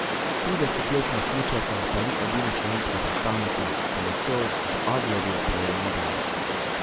Tridesetletna smučarka pa ni edina slovenska predstavnica, ki je nocoj v Adlerju prejela medaljo.